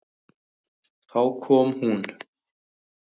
Þá kom hún.